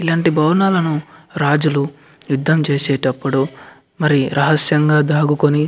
ఇలాంటి భవనాలను రాజులు యుద్ధం చేసేటప్పుడు మరి రహస్యంగా దాక్కుని --